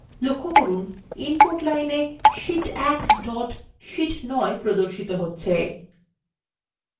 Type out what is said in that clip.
লক্ষ্য করুন input line –এ sheet 1 dot c9 প্রদর্শিত হচ্ছে